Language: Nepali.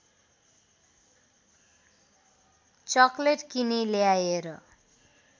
चक्लेट किनी ल्याएर